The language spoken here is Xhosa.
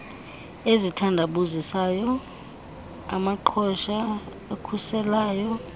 ezithandabuzisayo amaqhosha akhuselayo